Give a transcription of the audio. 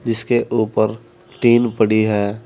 जिसके ऊपर टीन पड़ी है।